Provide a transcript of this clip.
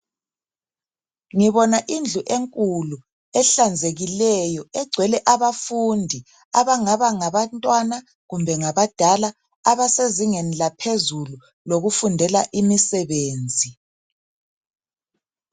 Ngibona indlu enkulu ehlanzekileyo egcwele abafundi abangaba ngabantwana kumbe ngabadala abasezingeni laphezulu lokufundela imisebenzi.